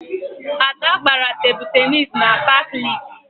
Ada gbara Tebụl Tennis na paakị Lekkị